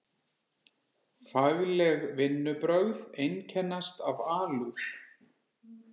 Fagleg vinnubrögð einkennast af alúð.